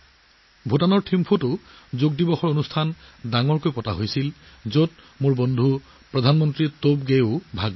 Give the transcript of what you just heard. ভূটানৰ থিম্পুতো এক বৃহৎ যোগ দিৱসৰ অনুষ্ঠান অনুষ্ঠিত হৈছিল য'ত মোৰ বন্ধু প্ৰধানমন্ত্ৰী টবেগেও উপস্থিত আছিল